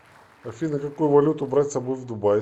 афина какую валюту брать с собой в дубай